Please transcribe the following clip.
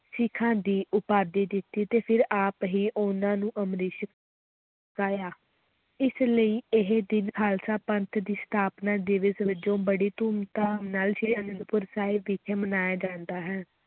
ਸਿੱਖਾਂ ਦੀ ਉਪਾਧੀ ਦਿੱਤੀ ਤੇ ਫਿਰ ਆਪ ਹੀ ਉਨ੍ਹਾਂ ਨੂੰ ਅੰਮ੍ਰਿਤ ਛਕਾਇਆ, ਇਸ ਲਈ ਇਹ ਦਿਨ ਖ਼ਾਲਸਾ ਪੰਥ ਦੀ ਸਥਾਪਨਾ ਦਿਵਸ ਵਜੋਂ ਬੜੀ ਧੂਮ-ਧਾਮ ਨਾਲ ਸ੍ਰੀ ਅਨੰਦਪੁਰ ਸਾਹਿਬ ਵਿਖੇ ਮਨਾਇਆ ਜਾਂਦਾ ਹੈ।